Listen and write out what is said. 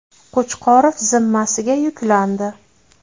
Qo‘chqorov zimmasiga yuklandi.